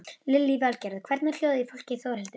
Lillý Valgerður: Hvernig er hljóðið í fólki Þórhildur?